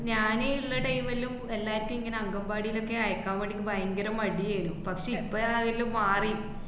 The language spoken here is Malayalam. ഞാന് ള്ള time ലും എല്ലാര്ക്കും ഇങ്ങനെ അംഗന്‍വാടിലൊക്കെ അയക്കാൻ വേണ്ടീട്ട് ഭയങ്കരം മടിയേരുന്നു. പക്ഷേ ഇപ്പോഴാ അയെലും മാറി.